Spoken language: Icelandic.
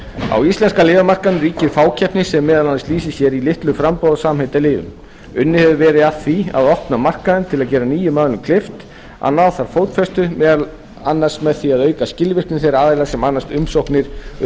á íslenska lyfjamarkaðnum ríkir fákeppni sem meðal annars lýsir sér í litlu framboði á samheitalyfjum unnið hefur verið að því að opna markaðinn til að gera nýjum aðilum kleift að ná þar fótfestu meðal annars með því að auka skilvirkni þeirra aðila sem annast umsóknir um